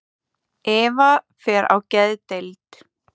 Eva fer á geðdeild.